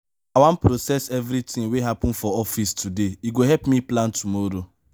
i wan process everytin wey happen for office today e go help me plan tomorrow.